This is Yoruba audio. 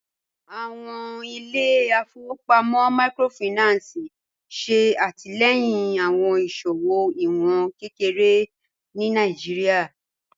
Awọn ilẹ̀-ifọ̀wọpamọ míkrófáìnánsì ṣe atilẹ̀yin awọn iṣowo iwọn kẹkẹre ni Nàìjíríà.